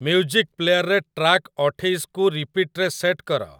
music ପ୍ଲେୟାରରେ track ଅଠେଇଶକୁ ରିପିଟ୍‌ରେ ସେଟ୍ କର